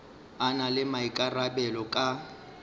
a na le maikarabelo ka